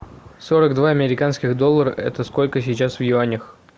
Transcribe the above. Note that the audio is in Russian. сорок два американских доллара это сколько сейчас в юанях